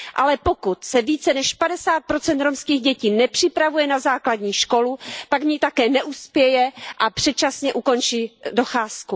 Ale pokud se více než 50 romských dětí nepřipravuje na základní školu, pak v ní také neuspěje a předčasně ukončí docházku.